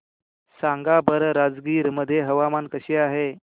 सांगा बरं राजगीर मध्ये हवामान कसे आहे